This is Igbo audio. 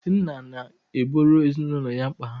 Nna na-egboro ezinụlọ ya mkpa ha.